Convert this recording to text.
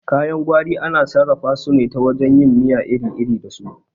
Kayan gwari ana sarrafa su ne ta wajen yin miya iri iri da su